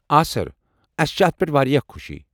آ سر، اسہِ چھےٚ اتھ پٮ۪ٹھ واریاہ خوشی۔